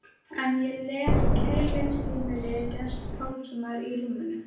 En ég les Kærleiksheimili Gests Pálssonar í rúminu.